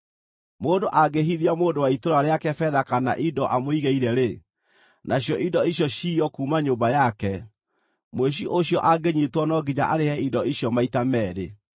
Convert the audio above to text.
“Mũndũ angĩhithia mũndũ wa itũũra rĩake betha kana indo amũigĩre-rĩ, nacio indo icio ciywo kuuma nyũmba yake, mũici ũcio angĩnyiitwo no nginya arĩhe indo icio maita meerĩ.